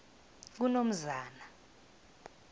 kunomzana